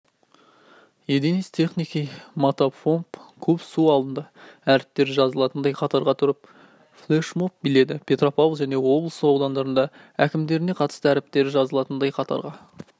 единиц техники мотопомп куб су алынды әріптері жазылатындай қатарға тұрып флешмоб биледі петопавл және облыс аудандарының әкімдері қатысты әріптері жазылатындай қатарға